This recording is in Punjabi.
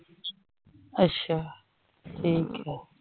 ਅੱਛਾ ਠੀਕ ਹੈ।